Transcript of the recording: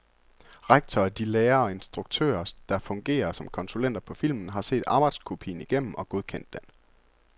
Rektor og de lærere og instruktører, der fungerer som konsulenter på filmen, har set arbejdskopien igennem og godkendt den.